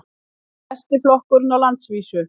Besti flokkurinn á landsvísu